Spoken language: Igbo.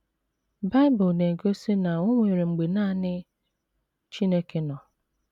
Bible na - egosi na o nwere mgbe nanị Chineke nọ.